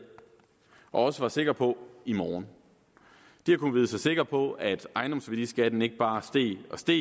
og også var sikre på i morgen de har kunnet vide sig sikre på at ejendomsværdiskatten ikke bare steg og steg